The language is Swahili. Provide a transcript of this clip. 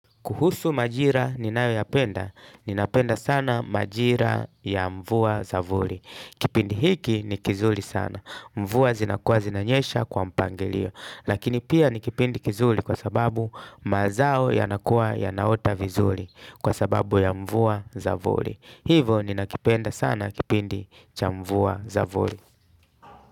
Kuhusu majira ninayoyapenda, ninapenda sana majira ya mvua za vuli. Kipindi hiki ni kizuri sana. Mvua zinakua zinanyesha kwa mpangilio. Lakini pia ni kipindi kizuri kwa sababu mazao yanakua yanaota vizuri kwa sababu ya mvua za vuli. Hivo ninakipenda sana kipindi cha mvua za vuli.